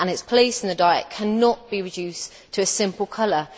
its place in the diet cannot be reduced to a simple colour.